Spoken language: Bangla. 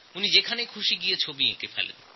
উনি যে কোনো জায়গায় গিয়ে ছবি আঁকতে পারতেন